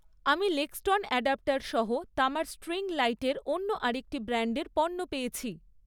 আমি লেক্সটন অ্যাডাপ্টসহ তামার স্ট্রিং লাইটের অন্য আরেকটি ব্র্যান্ডের পণ্য পেয়েছি৷